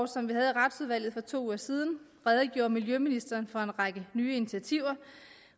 som vi havde i retsudvalget for to uger siden redegjorde miljøministeren for en række nye initiativer